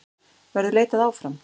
Verður leitað áfram?